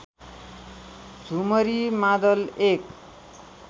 झुमरी मादल एक